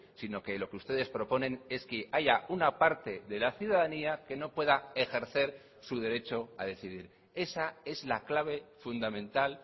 sino que lo que ustedes proponen es que haya una parte de la ciudadanía que no pueda ejercer su derecho a decidir esa es la clave fundamental